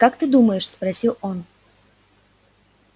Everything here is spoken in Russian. как ты думаешь спросил он